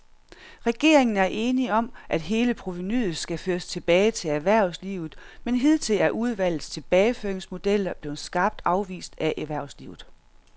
Regeringen er enig om, at hele provenuet skal føres tilbage til erhvervslivet, men hidtil er udvalgets tilbageføringsmodeller blevet skarpt afvist af erhvervslivet.